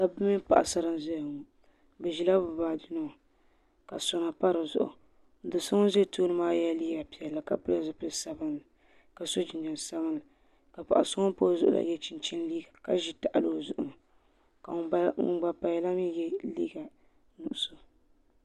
Dabiba mini paɣasara n zaya ŋɔ bi zila bi baaji nima ka sona pa di zuɣu do so ŋuni zi tooni maa yiɛla liiga piɛlli ka pili zupiligu sabinli ka so jinjam sabinli ka paɣa so ŋuni pa o zuɣu la yiɛ chinchini liiga ka zi tahali o zuɣu ni ka ŋuni gba paya la mi yiɛ liiga nuɣiso.